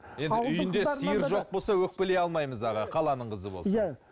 сиыр жоқ болса өкпелей алмаймыз аға қаланың қызы болсын